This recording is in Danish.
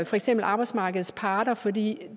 for eksempel arbejdsmarkedets parter for det